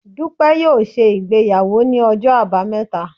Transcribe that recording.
Dupe yóò se ìgbéyàwó ní Ọjọ abámeta